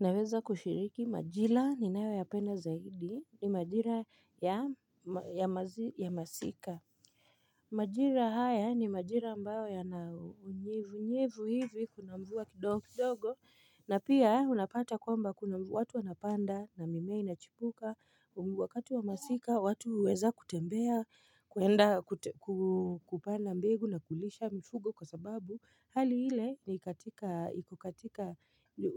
Naweza kushiriki majila ninayoyapenda zaidi, ni majira ya masika. Majira haya ni majira ambayo yanaunyevunyevu hivi kuna mvua kidogo kidogo, na pia unapata kwamba kuna mvu, watu wanapanda na mimea inachipuka, wakati wa masika, watu huweza kutembea, kuenda kupanda mbegu na kulisha mfugo kwa sababu, Hali ile ni katika, iko katika,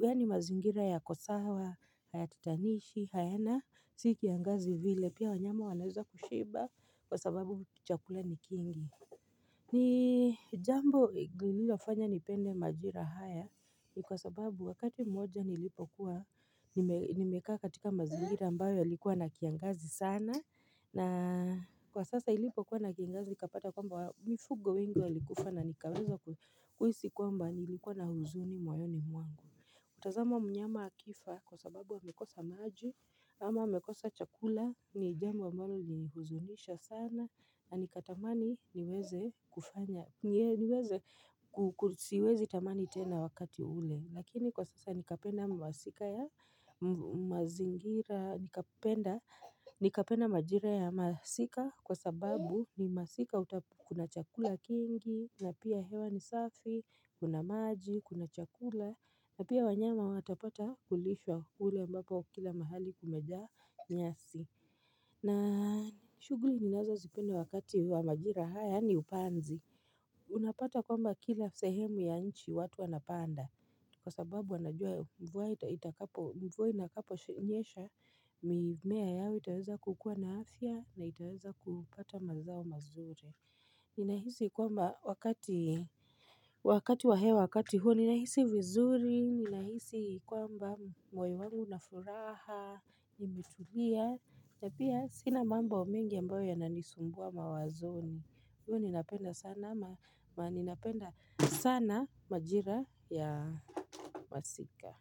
yaani mazingira yako sawa, hayatatanishi, hayana, si kiangazi vile pia wanyama wanaweza kushiba kwa sababu chakula ni kingi. Ni jambo lilofanya nipende majira haya ni kwa sababu wakati mmoja nilipokuwa, nimekaa katika mazingira ambayo yalikuwa na kiangazi sana. Na kwa sasa ilipokuwa na kingazi, nikapata kwamba mifugo wengi walikufa na nikaweza kuhisi kwamba nilikuwa na huzuni moyoni mwangu. Kutazama mnyama akifa kwa sababu amekosa maji ama amekosa chakula, ni jambo ambalo lilihuzunisha sana na nikatamani niweze kufanya, niweze kusiwezi tamani tena wakati ule. Lakini kwa sasa nikapenda majira ya masika kwa sababu ni masika kuna chakula kingi na pia hewa ni safi, kuna maji, kuna chakula na pia wanyama watapata kulishwa kule ambapo kila mahali kumejaa nyasi na shughuli ninazozipenda wakati wa majira haya ni upanzi Unapata kwamba kila sehemu ya nchi watu wanapanda Kwa sababu wanajua mvua itakapo mvua inakapo nyesha mimea yao itaweza kukuwa na afya na itaweza kupata mazao mazuri Ninahisi kwamba wakati wakati wa hewa wakati huo ninahisi vizuri, ninahisi kwamba moyo wangu unafuraha, nimetulia na pia sina mambo mengi ambayo yananisumbua mawazoni. Hivyo ninapenda sana majira ya masika.